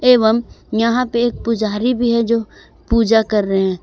एवं यहां पे पुजारी भी है जो पूजा कर रहे हैं।